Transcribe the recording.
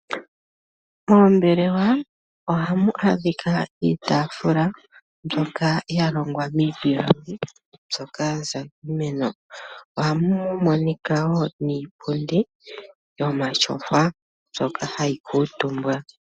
Moombelewa ohamu adhika iitaafula mbyoka yalongwa miipilangi mbyoka yaza kiimeno, ohamu monika woo niipundi yomatyofa mbyoka hayi kuutumbwa.